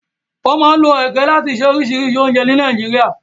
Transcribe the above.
Wọ́n máa ń lo ege láti ṣe oríṣìíríṣìí oúnjẹ ní Nàìjíríà.